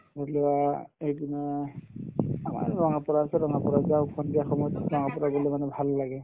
এইকেইদিনত আমাৰ ত যাওঁ সন্ধিয়া সময়ত যাওঁ ভাল লাগে